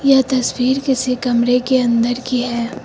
यह तस्वीर किसी कमरे के अंदर की है।